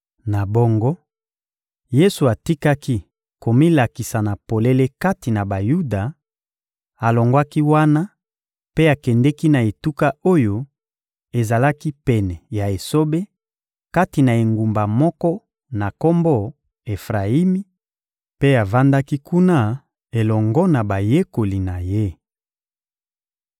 Na bongo, Yesu atikaki komilakisa na polele kati na Bayuda; alongwaki wana mpe akendeki na etuka oyo ezalaki pene ya esobe, kati na engumba moko na kombo Efrayimi; mpe avandaki kuna elongo na bayekoli na Ye.